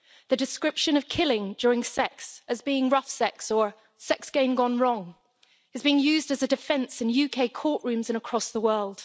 The description of killing during sex as being rough sex' or sex game gone wrong' is being used as a defence in UK courtrooms and across the world.